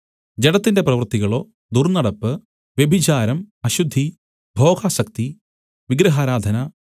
ജഡത്തിന്റെ പ്രവൃത്തികളോ ദുർന്നടപ്പ് വ്യഭിചാരം അശുദ്ധി ഭോഗാസക്തി വിഗ്രഹാരാധന